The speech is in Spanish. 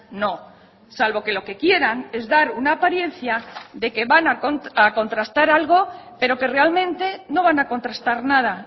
no salvo que lo que quieran es dar una apariencia de que van a contrastar algo pero que realmente no van a contrastar nada